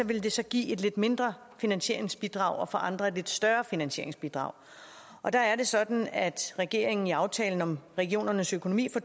vil det så give et lidt mindre finansieringsbidrag og for andre et lidt større finansieringsbidrag og der er det sådan at regeringen i aftalen om regionernes økonomi for